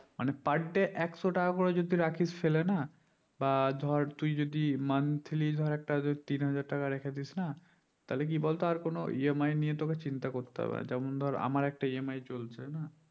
মানে per day একশো টাকা করে জাতি রাখিস ফেলে না বা ধর তুই যদি monthly ধর একটা যদি তিন হাজার টাকা রেখে দিস না তাহলে কি বলতো আর কোনো EMI নিয়ে তোকে চিন্তা করতে হবে না যেমন ধর আমার একটি EMI চলছে